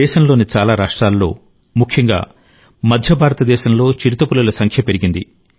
దేశంలోని చాలా రాష్ట్రాల్లో ముఖ్యంగా మధ్య భారతదేశంలో చిరుతపులుల సంఖ్య పెరిగింది